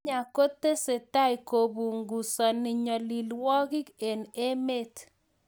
Kenya kotesetai kopunguzani nyalilwog'ik eng' emet